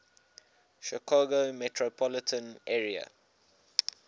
chicago metropolitan area